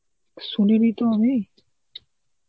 শুনিনি তো আমি.